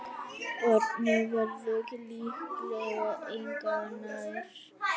Barnið verður líklega engu nær.